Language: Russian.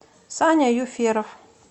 саня юферов